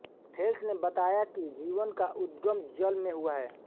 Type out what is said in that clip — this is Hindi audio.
थेल्स ने बताया कि जीवन का उद्गम जल में हुआ है